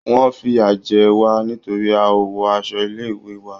Wọ́n fìyà jẹ wá nítorí a ò wọ aṣọ ilé-ìwé wa.